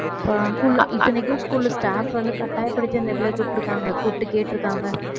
school ல இத்தனைக்கும் school staff வந்து கட்டாயப்படுத்தி அந்த பிள்ளைய கூப்பிட்டிருக்காங்க கூப்பிட்டு கேட்டிருக்காங்க